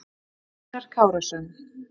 Rætt við Einar Kárason.